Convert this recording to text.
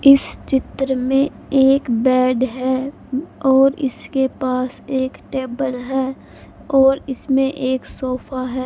इस चित्र में एक बेड है और इसके पास एक टेबल है और इसमें एक सोफा है--